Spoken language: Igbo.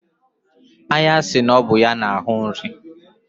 Anya si na ọ bụ ya na-afụta nri.